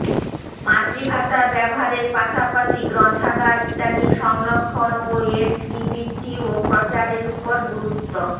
মাতৃভাষা ব্যবহারের পাশাপাশি গ্ৰন্থাগার ইত্যাদির সংরক্ষণ ও এর শ্ৰীবৃদ্ধি ও প্ৰচারের ওপর গুরুত্ব